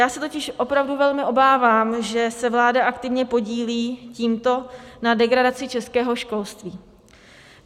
Já se totiž opravdu velmi obávám, že se vláda aktivně podílí tímto na degradaci českého školství.